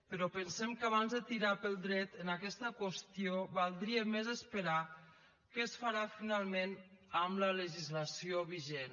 però pensem que abans de tirar pel dret en aquesta qüestió valdria més esperar què es farà finalment amb la legislació vigent